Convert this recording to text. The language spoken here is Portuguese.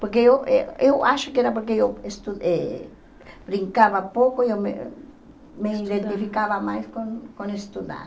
Porque eu eh eu acho que era porque eu estu eh brincava pouco e eu me me identificava mais com com estudar.